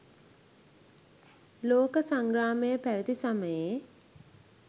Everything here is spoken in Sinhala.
ලෝක සංග්‍රාමය පැවති සමයේ